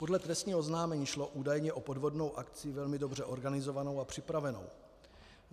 Podle trestního oznámení šlo údajně o podvodnou akci velmi dobře organizovanou a připravenou.